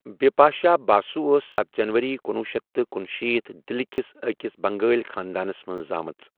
بِپاشا باسُو ٲس ستھَ جنوٕری کنُۄہ شیتھ تہٕ کنشیٖتھ دِلہِ کِس أکِس بنٛگٲلۍ خانٛدانَس منٛز زامٕژ۔